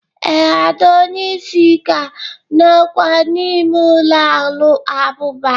Ee, ada onye isi ka nọkwa n’ime ụlọ abụba